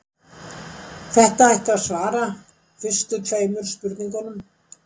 Þetta ætti að svara fyrstu tveimur spurningunum.